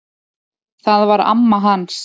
Það var amma hans